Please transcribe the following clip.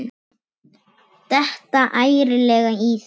Detta ærlega í það.